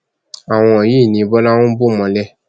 àwọn yìí ni bọlá ń bò mọlẹ